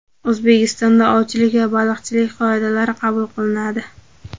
O‘zbekistonda ovchilik va baliqchilik qoidalari qabul qilinadi.